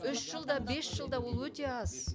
үш жылда бес жылда ол өте аз